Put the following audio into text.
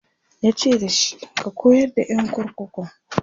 yace dashi"ka koyar da ƴan kurkukun!"